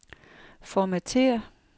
Formatér.